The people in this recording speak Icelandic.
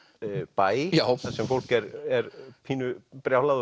bæ þar sem fólk er pínu brjálað